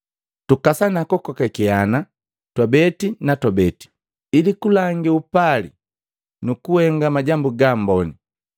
Tukasana kukokakeana twabeti na twabeti ili kulangi upali nu kuhenga majambu gaamboni.